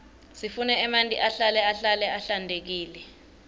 siqune emanti ahlale ahlale ahlantekile